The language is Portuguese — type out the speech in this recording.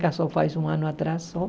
Casou faz um ano atrás só.